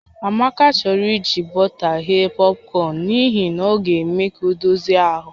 Amaka chọrọ iji bọta ghee pọpkọn n'ihi na ọ ga-eme ka ọ dozie ahụ